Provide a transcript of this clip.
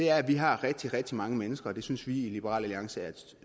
er at vi har rigtig rigtig mange mennesker og det synes vi i liberal alliance er et